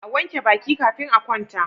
A wanke Baki kafin a kwanta